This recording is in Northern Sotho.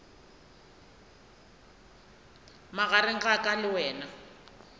magareng a ka le wena